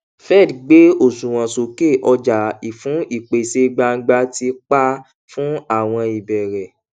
fed gbé òṣùwọn sókè ọjà fún ìpèsè gbangba ti pa fún àwọn ìbẹrẹ